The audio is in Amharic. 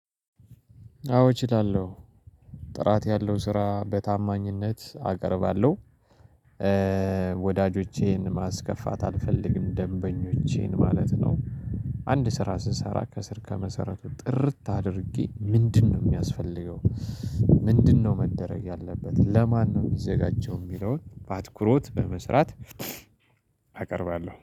አዎ እችላለሁ። ጥራት ያለው ስራ በታማኝነት አቀርባለሁ። ወዳጆቼን ማስከፋት አልፈልግም ደንበኞቼን ማለት ነው አንድ ስራ ስሰራ ከስር ከመሰረቱ ጥርት አድርጌ ምንድነው የሚያስፈልገው ምንድነው መደረግ ያለበት ለማን ነው የሚዘጋጀው የሚለውን በአትኩሮት በመስራት አቀርባለሁ